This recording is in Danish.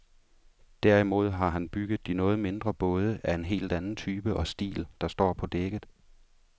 Derimod har han bygget de noget mindre både, af en helt anden type og stil, der står på dækket.